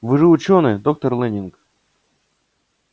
вы же учёный доктор лэннинг